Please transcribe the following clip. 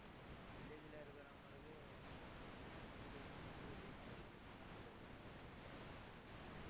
village ல இருக்கறவங்களுக்கு ஆஹ் city யில இருக்கறவங்களுக்கு, நிறைய வித்தியாசம் இருக்கு என்ன சொல்றது ஆஹ்